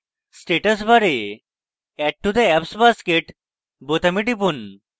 status bar এ add to the apps basket বোতামে টিপুন